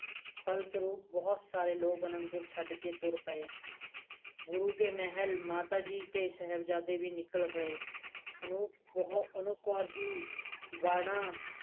ਫਲਸਰੂਪ ਬਹੁਤ ਸਾਰੇ ਲੋਕ ਅਨੰਦਪੁਰ ਛੱਡ ਕੇ ਤੁਰ ਪਾਏ ਗੁਰੂ ਦੇ ਮਹਿਲ ਮਾਤਾ ਜੀ ਤੇ ਸਹਿਬਜਾਦੇ ਵੀ ਨਿਕਲ ਪਏ ਅਨੁਪ ਕੌਰ ਵੀ ਵਾਲਾ